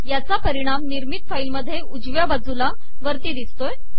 याचा परिणाम निर्मित फाईल मध्ये उजव्या बाजूला वरती दिसतो आहे